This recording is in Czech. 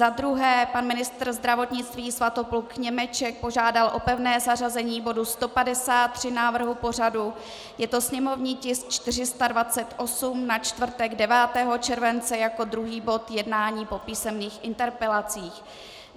Za druhé, pan ministr zdravotnictví Svatopluk Němeček požádal o pevné zařazení bodu 153 návrhu pořadu, je to sněmovní tisk 428, na čtvrtek 9. července jako druhý bod jednání po písemných interpelacích.